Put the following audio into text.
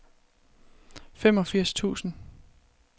femogfirs tusind